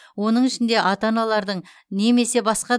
оның ішінде ата аналардың немесе басқа